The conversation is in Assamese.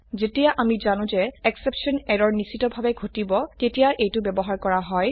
যেতিয়া আমি জানো যে এক্সেপশ্যন এৰৰ নিশ্চিতভাবে ঘটিব তেতিয়া এইটো ব্যবহাৰ কৰা হয়